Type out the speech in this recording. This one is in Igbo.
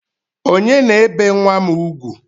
Onye na-ebe nwa m ugwu?